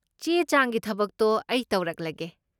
ꯆꯦ ꯆꯥꯡꯒꯤ ꯊꯕꯛꯇꯣ ꯑꯩ ꯇꯧꯔꯛꯂꯒꯦ꯫